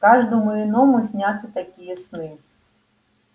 каждому иному снятся такие сны